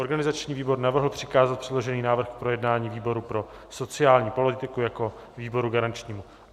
Organizační výbor navrhl přikázat předložený návrh k projednání výboru pro sociální politiku jako výboru garančnímu.